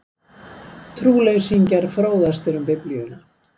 Trúleysingjar fróðastir um Biblíuna